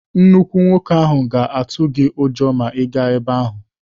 Nnukwu nwoke ahụ ga-atụ gị ụjọ ma ị gaa ebe ahụ.